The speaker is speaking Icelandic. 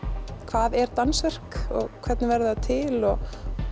hvað er dansverk og hvernig verður það til og